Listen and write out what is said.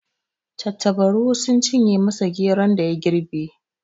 Tattabaru sun cinye masa geron da ya girbe.